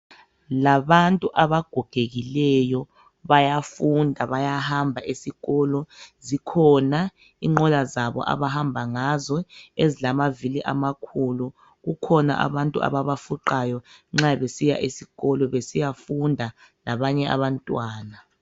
Labantu abagogekileyo bayafunda bayahamba esikolo. Zikhona inqola zabo abahamba ngazo ezilamavili amakhulu. Kukhona abantu ababafuqayo nxa besiya esikolo besiyafunda labanye abantwana.